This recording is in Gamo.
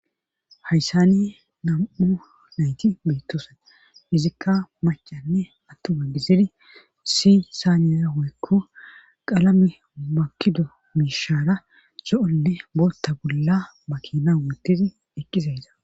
Hayssani nam7u nayti beettoosan izikka macanne attuma gizidi si saaniyahoykko qalame makido miishaara so7onne bootta bolla ba kina mittidi eqqizayda.